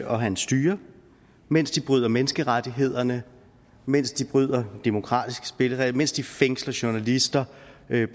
og hans styre mens de bryder menneskerettighederne mens de bryder demokratiske spilleregler mens de fængsler journalister